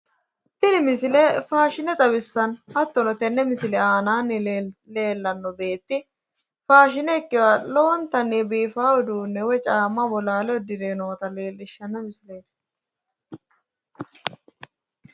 tini misile faashine xawissanno hattono tenne misile aanaanni leellanno beeti faashine ikinoha lowontanni biifannoha uddireeta leellishshanno misileelti.